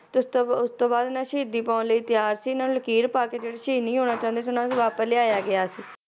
ਤੇ ਉਸ ਤੋਂ, ਉਸ ਤੋਂ ਬਾਅਦ ਇਹ ਨਾ ਸ਼ਹੀਦੀ ਪਾਉਣ ਲਈ ਤਿਆਰ ਸੀ ਇਹਨਾਂ ਨੇ ਲਕੀਰ ਪਾ ਕੇ ਜਿਹੜੇ ਸ਼ਹੀਦ ਨਹੀਂ ਹੋਣਾ ਚਾਹੁੰਦੇ ਸੀ ਉਹਨਾਂ ਨੂੰ ਵਾਪਿਸ ਲਿਆਇਆ ਗਿਆ ਸੀ